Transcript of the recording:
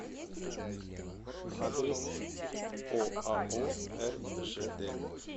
адрес оао ржд